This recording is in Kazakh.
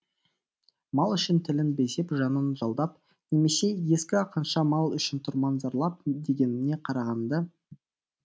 мал үшін тілін безеп жанын жалдап немесе ескі ақынша мал үшін тұрман зарлап дегеніне қарағанда